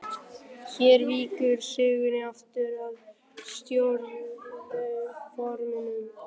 Hér víkur sögunni aftur að stóriðjuáformum.